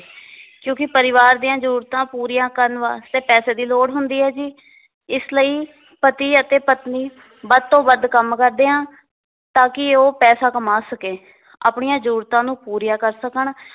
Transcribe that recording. ਕਿਉਕਿ ਪਰਿਵਾਰ ਦੀਆਂ ਜਰੂਰਤਾਂ ਪੂਰੀਆਂ ਕਰਨ ਵਾਸਤੇ ਪੈਸੇ ਦੀ ਲੋੜ ਹੁੰਦੀ ਹੈ ਜੀ ਇਸ ਲਈ ਪਤੀ ਅਤੇ ਪਤਨੀ ਵੱਧ ਤੋਂ ਵੱਧ ਕੰਮ ਕਰਦੇ ਆ ਤਾਂਕਿ ਉਹ ਪੈਸੇ ਕਮਾ ਸਕੇ ਆਪਣੀਆਂ ਜਰੂਰਤਾਂ ਨੂੰ ਪੂਰੀਆਂ ਕਰ ਸਕਣ